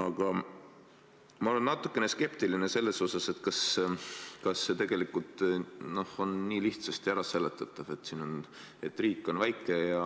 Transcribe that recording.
Aga ma olen natukene skeptiline selles suhtes, kas see tegelikult on nii lihtsasti äraseletatav, et riik on väike ja